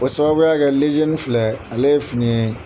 O sababuya kɛ lezeni filɛ, ale ye fini ye